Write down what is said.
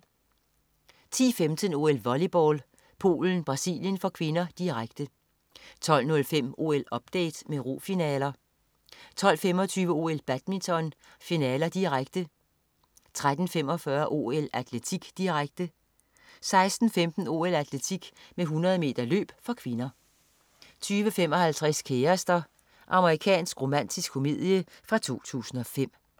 10.15 OL: Volleyball. Polen-Brasilien (k), direkte 12.05 OL-update med rofinaler 12.25 OL: Badminton, finaler, direkte 13.45 OL: Atletik, direkte 16.15 OL: Atletik med 100 m løb (k) 20.55 Kærester. Amerikansk romantisk komedie fra 2005